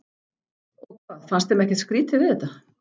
Og hvað, fannst þeim ekkert skrýtið við þetta?